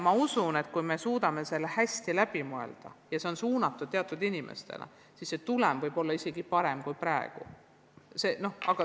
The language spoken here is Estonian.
Ma usun, et kui me suudame probleemi hästi läbi mõelda ja see õpe saab olema suunatud teatud inimestele, siis tulemus on parem kui praegu.